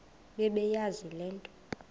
bebeyazi le nto